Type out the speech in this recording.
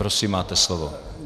Prosím, máte slovo.